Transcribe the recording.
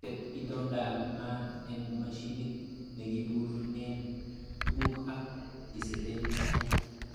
Tet itondaab maat en mashinit nekipurgeen tuguk ak iseten sait.